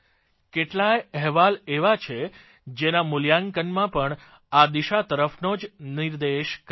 કેટલાય અહેવાલ એવા છે જેના મૂલ્યાંકનમાં પણ આ દિશા તરફનો જ નિર્દેશ કરાયો છે